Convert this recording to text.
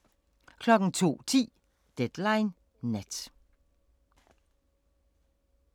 02:10: Deadline Nat